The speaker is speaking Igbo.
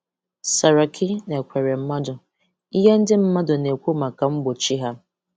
Saraki na Ekweremadu: Ihe ndị mmadụ na-ekwu maka mgbochi ha.